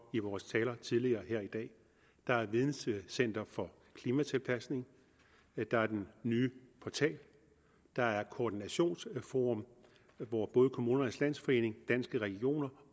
i vores taler tidligere her i dag der er videncenter for klimatilpasning der er den nye portal der er et koordinationsforum hvor både kommunernes landsforening danske regioner